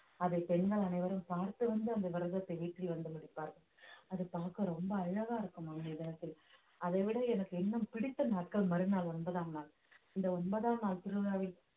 அதை பெண்கள் அனைவரும் பார்த்து வந்து அந்த விரதத்தை வீட்டில் வந்து முடிப்பார்கள் அது பார்க்க ரொம்ப அழகா இருக்கும் அவங்க அதைவிட எனக்கு இன்னும் பிடித்த நாட்கள் மறுநாள் ஒன்பதாம் நாள் இந்த ஒன்பதாம் நாள் திருவிழாவில்